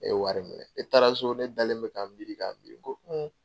Ne ye wari minɛ ne taara so ne dalen bɛ k'an miiri k'an miiri n ko